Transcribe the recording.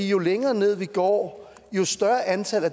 jo længere ned vi går jo større antallet